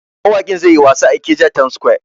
Mawakin zai yi wasa a Ikeja town square.